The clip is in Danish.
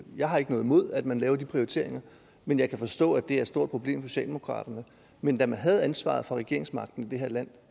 jeg har ikke noget imod at man laver de prioriteringer men jeg kan forstå at det er stort problem for socialdemokraterne men da man havde ansvaret for regeringsmagten i det her land